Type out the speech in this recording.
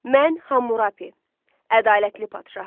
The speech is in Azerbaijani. Mən Hamurapi, ədalətli padşaham.